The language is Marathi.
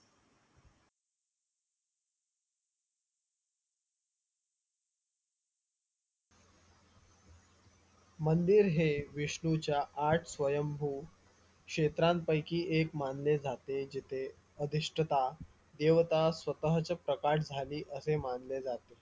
मंदिर हे विष्णूच्या आठ स्वयंभू क्षेत्रांपैकी एक मानले जाते जिथे अधिष्ठता देवता स्वतःच्या प्रकाश असे मानले जाते